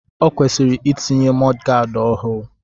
O kwesịrị itinye mọdgaad ọhụụ.